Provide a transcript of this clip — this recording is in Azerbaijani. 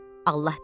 Allah dedi: